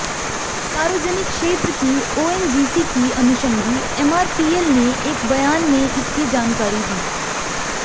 सार्वजनिक क्षेत्र की ओएनजीसी की अनुषंगी एमआरपीएल ने एक बयान में इसकी जानकारी दी